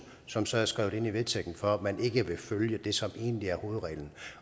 som så er skrevet ind i vedtægten for at man ikke vil følge det som egentlig er hovedreglen